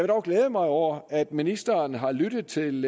dog glæde mig over at ministeren har lyttet til